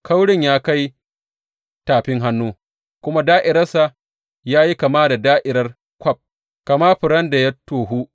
Kaurin ya kai tafin hannu, kuma da’iransa ya yi kama da’irar kwaf, kama furen da ya tohu.